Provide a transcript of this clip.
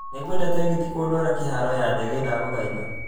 Nĩ ngwenda tegithi kũndwara kĩharo ya ndege ndagũthaitha